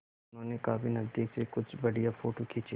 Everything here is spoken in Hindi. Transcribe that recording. उन्होंने काफी नज़दीक से कुछ बढ़िया फ़ोटो खींचे